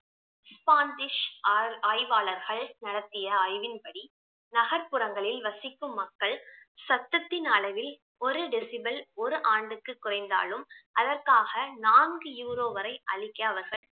Spanish ஆர்~ ஆய்வாளர்கள் நடத்திய ஆய்வின்படி நகர்ப்புறங்களில் வசிக்கும் மக்கள் சத்ததின் அளவில் ஒரு decibal ஒரு ஆண்டுக்கு குறைந்தாலும் அதற்காக நான்கு euro வரை அளிக்க அவர்கள்